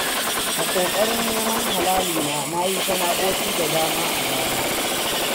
A ƙoƙarin neman halali na yi sana'o'i da dama a baya.